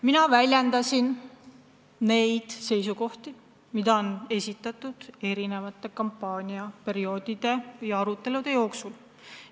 Mina väljendasin seisukohti, mis on eri kampaaniaperioodide ja arutelude jooksul kõlanud.